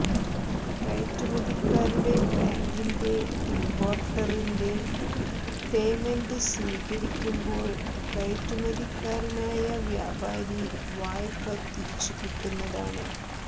കയറ്റുമതിക്കാരുടെ ബാങ്കിൻറെ ഇമ്പോർട്ടറിന്റെ പേയ്മെന്റ് സ്വീകരിക്കുമ്പോൾ കയറ്റുമതിക്കാരനായ വ്യാപാരി വായ്പ തിരിച്ചുകിട്ടുന്നതാണ്